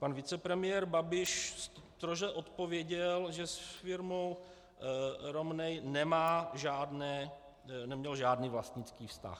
Pan vicepremiér Babiš stroze odpověděl, že s firmou Romneya neměl žádný vlastnický vztah.